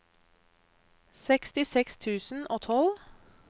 sekstiseks tusen og tolv